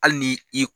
Hali ni i